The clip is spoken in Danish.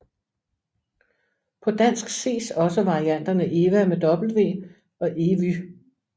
På dansk ses også varianterne Ewa og Evy